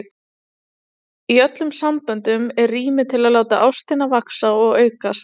Í öllum samböndum er rými til að láta ástina vaxa og aukast.